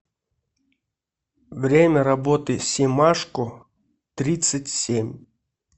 время работы семашко тридцать семь